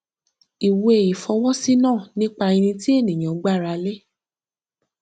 ìwé ìfọwọsí náà nípa ẹni tí ènìyàn gbára lé